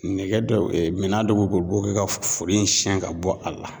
Nɛgɛ dɔ minɛn dɔ b'u bolo, u b'o kɛ ka foro in siɲɛ ka bɔ a la